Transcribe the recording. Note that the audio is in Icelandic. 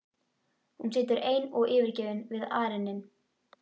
Hún situr ein og yfirgefin við arininn.